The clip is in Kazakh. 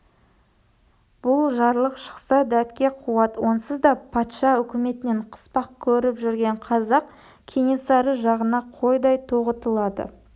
бұл жарлық шықса дәтке қуат онсыз да патша үкіметінен қыспақ көріп жүрген қазақ кенесары жағына қойдай тоғытылады